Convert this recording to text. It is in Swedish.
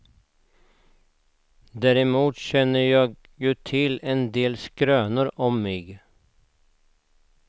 Däremot känner jag ju till en del skrönor om mig.